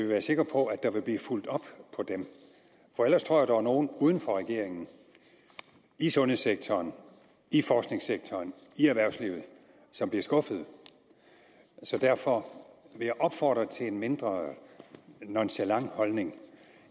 være sikre på at der bliver fulgt op på dem ellers tror jeg er nogle uden for regeringen i sundhedssektoren i forskningssektoren i erhvervslivet som bliver skuffede så derfor vil jeg opfordre til en mindre nonchalant holdning